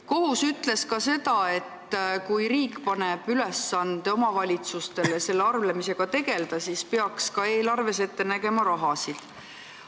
Kohus ütles ka seda, et kui riik paneb omavalitsustele ülesande selle arveldamisega tegelda, siis peaks ka eelarves selleks raha ette nägema.